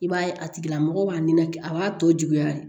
I b'a ye a tigilamɔgɔ b'a nɛnɛ a b'a tɔ juguya de